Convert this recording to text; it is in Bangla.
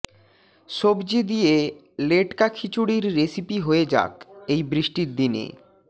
সবজি দিয়ে লেটকা খিচুড়ির রেসিপি হয়ে যাক এই বৃষ্টির দিনে